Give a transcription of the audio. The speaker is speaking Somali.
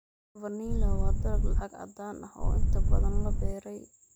Vanilla waa dalag lacag caddaan ah oo inta badan la beeray.